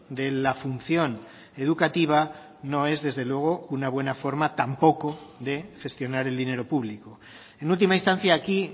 de la función educativa no es desde luego una buena forma tampoco de gestionar el dinero público en última instancia aquí